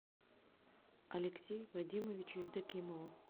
алексею вадимовичу евдокимову